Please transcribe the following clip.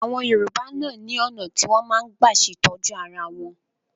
Àwọn Yorùbá náà ni ọ̀nà tí wọn máa ń gbà ṣe ìtọ́jú ara wọn